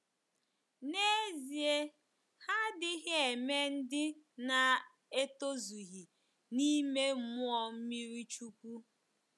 N’ezie, ha adịghị eme ndị na-etozughi n'ime mmụọ mmiri chukwu.